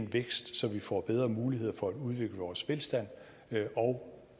vækst så vi får bedre mulighed for at udvikle vores velstand og